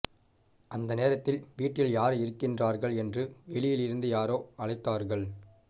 அந்த நேரத்தில் வீட்டில் யார் இருக்கிறார்கள் என்று வெளியில் இருந்து யாரோ அழைத்தார்கள்